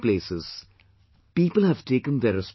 At many places, people have taken